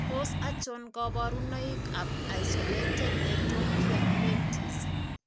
Tos achon kabarunaik ab Isolated ectopia lentis ?